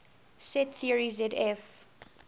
set theory zf